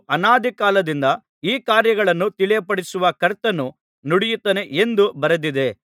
ಅನಾದಿಕಾಲದಿಂದ ಈ ಕಾರ್ಯಗಳನ್ನು ತಿಳಿಯಪಡಿಸುವ ಕರ್ತನು ನುಡಿಯುತ್ತಾನೆ ಎಂದು ಬರೆದದೆ